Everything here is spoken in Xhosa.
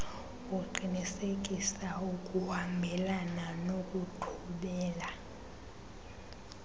uqinisekisa ukuhambelana nokuthobela